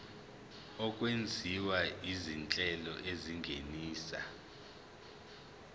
okwenziwa izinhlelo ezingenisa